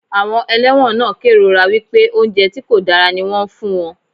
Àwọn ẹlẹ́wọ̀n náà kérora wípé oúnjẹ tí kò dára ní wón ń fún wọn.